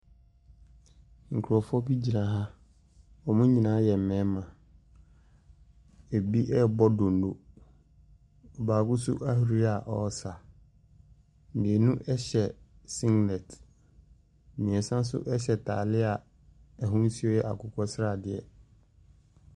Nkurɔfoɔ bi gyina ha, wɔn nyinaa yɛ mmarima, bi ɛrebɔ donno, baako nso ahuri a ɔresa, mmienu hyɛ singlet. Mmiɛnsa nso hyɛ ataade a ahosuo yɛ akokɔsradeɛ.